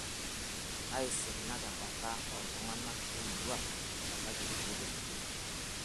Keiasinak e mbata oo ltung'ana le murua mebaiki kulie tokiting'